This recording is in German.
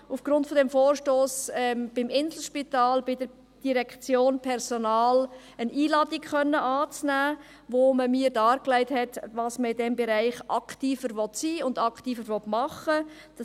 Aufgrund des Vorstosses hatte ich die Gelegenheit, im Inselspitals von der Direktion Personal eine Einladung anzunehmen, wo man mir darlegte, wie man in diesem Bereich aktiver sein und was man machen will.